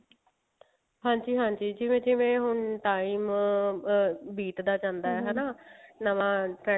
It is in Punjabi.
ਜਿਵੇਂ ਜਿਵੇਂ ਹੁਣ time ਅਮ ਅਮ ਬੀਤਦਾ ਜਾਂਦਾ ਹਨਾ ਨਵਾਂ